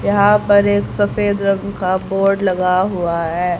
यहां पर एक सफेद रंग का बोर्ड लगा हुआ है।